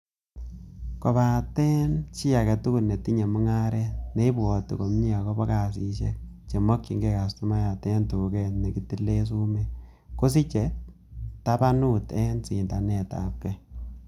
Kobaten chi agetugul netinye mungaret, neibwote komie agobo kasisiek che mokyinge kastomayat en tuget nekitilen sumek, kosiche tabanut en sindanetabge.